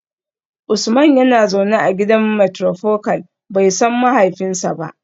Usman yana zaune a gidan matrifocal, bai san mahaifinsa ba